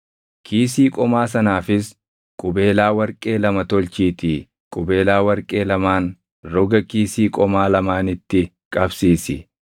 Kiisii qomaa sanaafis qubeelaa warqee lama tolchiitii qubeelaa warqee lamaan roga kiisii qomaa lamaanitti qabsiisi.